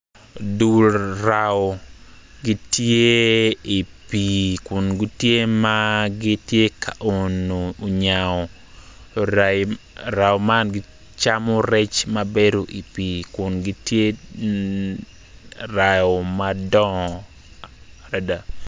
Dull raa gitye i pii kun gitye ma gitye ka oyo nyao raa man gicamo rec mabedo i pii kungitye raa madongo adada